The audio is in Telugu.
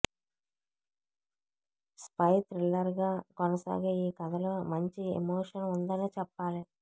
స్పై థ్రిల్లర్ గా కొనసాగే ఈ కథలో మంచి ఎమోషన్ ఉందనే చెప్పాలి